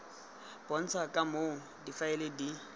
bontshang ka moo difaele di